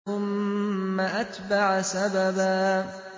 ثُمَّ أَتْبَعَ سَبَبًا